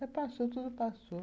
Mas passou, tudo passou.